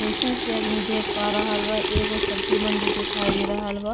जइसन की आदमी देख पा रहल बा एगो सब्जी मंडी दिखाई दे रहल बा।